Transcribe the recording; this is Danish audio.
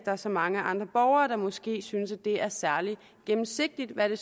er så mange andre borgere der måske synes det er særlig gennemsigtigt hvad